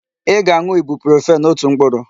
Ị ga-aṅụ Ibuprofen otu mkpụrụ!